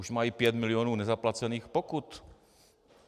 Už mají pět milionů nezaplacených pokut.